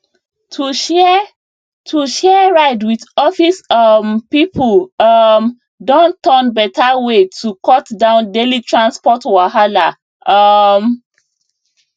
to share to share ride with office um people um don turn better way to cut down daily transport wahala um